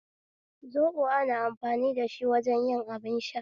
Zoɓo ana amfani da shi wajen yin abin sha